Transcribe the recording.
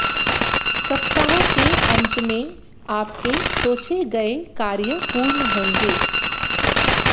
सप्ताह के अंत में आपके सोचे गए कार्य पूर्ण होंगे